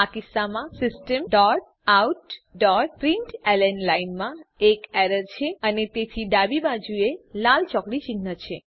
આ કિસ્સામાં systemoutપ્રિન્ટલન લાઈનમાં એક એરર છે અને તેથી ડાબી બાજુએ લાલ ચોકડી ચિન્હ છે